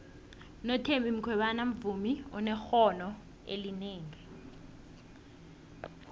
unothembi khwebane muvmi onekqono elinengi